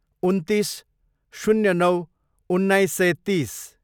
उन्तिस, शून्य नौ, उन्नाइस सय तिस